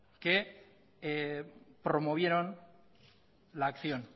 que promovieron la acción